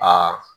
Aa